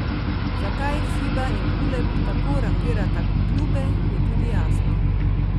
Zakaj Fiba in Uleb tako rangirata klube, je tudi jasno.